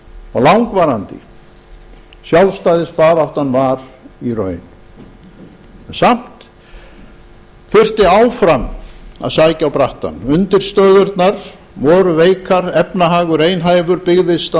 og langvarandi sjálfstæðisbaráttan var í raun samt þurfti áfram að sækja á brattann undirstöðurnar voru veikar efnahagurinn einhæfur byggðist að